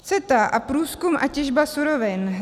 CETA a průzkum a těžba surovin.